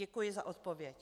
Děkuji za odpověď.